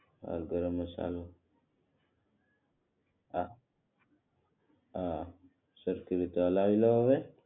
હા ગરમ મસાલો હા સરખી રીતે હલાવી લઉં હવે